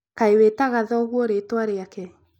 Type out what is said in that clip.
Kaĩ wĩtaga thoguo na ritwa riake?